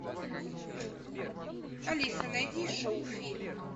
алиса найди шоу фильм